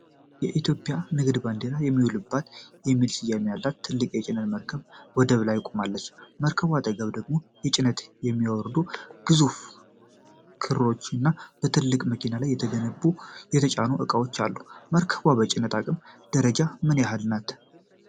የኢትዮጵያ ንግድ ባንዲራ የሚውለበልብባትና የሚል ስያሜ ያላት ትልቅ የጭነት መርከብ ወደብ ላይ ቆማለች። ከመርከቧ አጠገብ ደግሞ ጭነት የሚያወርዱ ግዙፍ ክሬኖች እና በትላልቅ መኪኖች ላይ የተጫኑ እቃዎች አሉ። መርከቧ በጭነት አቅም ደረጃ ምን ያህል ትልቅ ናት?